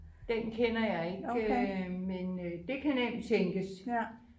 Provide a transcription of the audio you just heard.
Den kender jeg ikke øh men øh det kan nemt tænkes